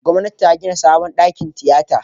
Gwamnati ta gida sabon dakin tiyata.